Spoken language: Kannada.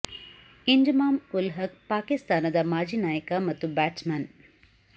ಇಂಜಮಾಮ್ ಉಲ್ ಹಕ್ ಪಾಕಿಸ್ತಾನದ ಮಾಜಿ ನಾಯಕ ಮತ್ತು ಬ್ಯಾಟ್ಸ್ ಮನ್